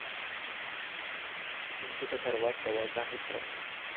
चिंटूचा सर्वात जवळचा मित्र.